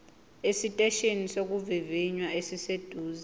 esiteshini sokuvivinya esiseduze